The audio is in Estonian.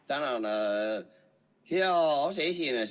Tänan, hea aseesimees!